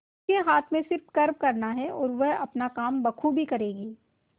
उसके हाथ में सिर्फ कर्म करना है और वह अपना काम बखूबी करेगी